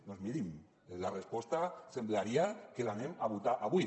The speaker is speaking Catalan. doncs mirin la resposta semblaria que l’anem a votar avui